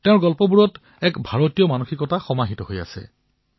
তেওঁৰ কাহিনীত সমগ্ৰ ভাৰতৰ মনোভাৱ সমাহিত হৈ আছে